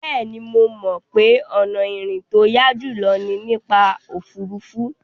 Bẹ́ẹ̀ni, mo mọ̀ pé ọ̀nà ìrìn tó yá jùlọ ni nípa òfuurufú.